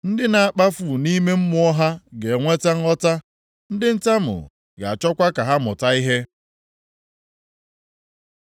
Ndị na-akpafu nʼime mmụọ ha ga-enweta nghọta, ndị ntamu ga-achọkwa ka ha mụta ihe.”